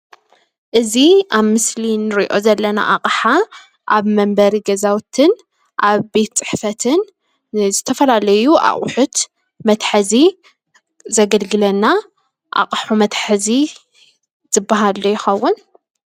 እዚ ኣብ ምስሊ እንሪኦ ዘለና ኣቕሓ ኣብ መንበሪ ገዛውትን ኣብ ቤት ፅሕፈትን ንዝተፈላለዩ ኣቑሑት መትሐዚ ዘገልግለና ኣቕሑ መትሐዚ ዝባሃል ዶ ይኸውን?